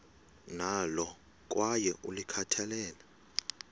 nalo kwaye ulikhathalele